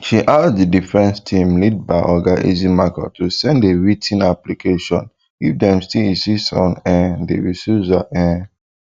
she ask di defence team lead by oga ejimakor to send a writ ten application if dem still insist on um di recusal um